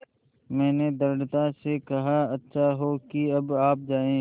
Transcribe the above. मैंने दृढ़ता से कहा अच्छा हो कि अब आप जाएँ